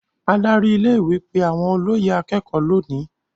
Adarí ilé-ìwé pe àwọn olóyè akékọ̀ọ́ lónìí.